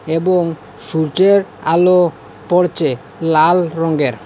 এবং সূর্যের আলো পড়চে লাল রঙ্গের ।